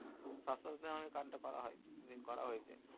সাস্থ সাথী নামের card টা করা হয় করা হয়েছে